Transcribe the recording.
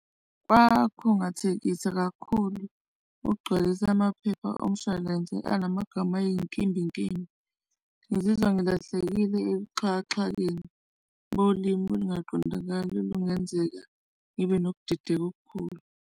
Kwakhungathekisa kakhulu ukugcwalisa amaphepha omshwalense anamagama oyinkimbinkimbi. Ngizizwa ngilahlekile ekuxhakaxhakeni bolimi olungaqondakali olungenzeka ngibe nokudideka okukhulu.